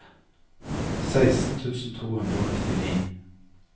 seksten tusen to hundre og nittini